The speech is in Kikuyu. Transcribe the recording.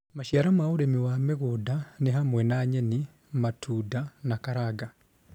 Maciaro ma ũrĩmi wa mĩgũnda nĩ hamwe na nyeni, matunda, na karanga